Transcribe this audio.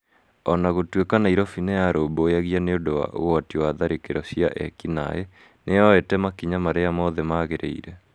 O na gũtuĩka Nairobi nĩ niyarũmbũyagia nĩ ũndũ wa ũgwati wa tharĩkĩro cia ekinaĩ, nĩ yoete makinya marĩa mothe magĩrĩire.